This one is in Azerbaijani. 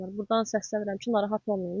Burdan səslənirəm ki, narahat olmayın.